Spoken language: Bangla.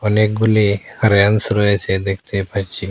অনেকগুলি রেয়াংস রয়েছে দেখতে পাচ্ছি।